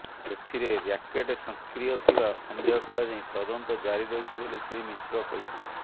ଏଥିରେ ର୍ୟାକେଟ ସକ୍ରିୟ ଥିବା ସନ୍ଦେହ କରାଯାଇ ତଦନ୍ତ ଜାରି ରହିଛି ବୋଲି ଶ୍ରୀ ମିଶ୍ର କହିଛନ୍ତି